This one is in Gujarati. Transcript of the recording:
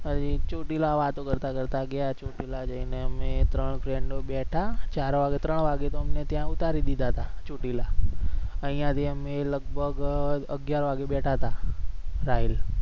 ચોટીલા વાતો કરતાં કરતાં ગયા ચોટીલા જઈને અમે ત્રણ friend બેઠા ચાર વાગે ત્રણ વાગે તો અમને ત્યા ઉતારી દીધા અહિયા થી અમે લગભગ અગ્યાર વાગે બેઠા હતા રાહિલ